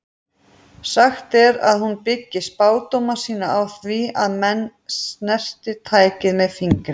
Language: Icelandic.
Sagt er að hún byggi spádóma sína á því að menn snerti tækið með fingri.